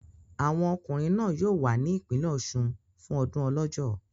Àwọn ọkùnrin náà yóò wà ní ìpínlẹ̀ Ọ̀ṣun fún ọdún Ọlọ́jọ́.